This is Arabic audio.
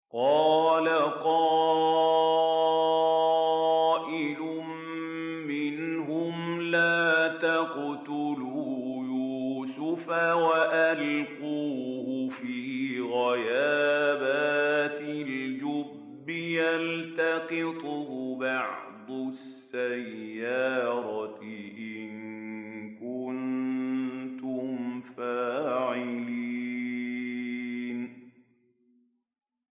قَالَ قَائِلٌ مِّنْهُمْ لَا تَقْتُلُوا يُوسُفَ وَأَلْقُوهُ فِي غَيَابَتِ الْجُبِّ يَلْتَقِطْهُ بَعْضُ السَّيَّارَةِ إِن كُنتُمْ فَاعِلِينَ